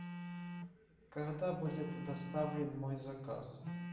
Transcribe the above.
когда будет доставлен мой заказ